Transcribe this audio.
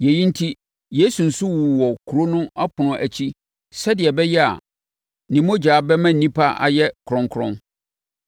Yei enti, Yesu nso wuu wɔ kuro no ɛpono akyi sɛdeɛ ɛbɛyɛ a ne mogya bɛma nnipa ayɛ kronkron.